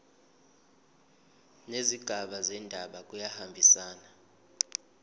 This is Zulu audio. nezigaba zendaba kuyahambisana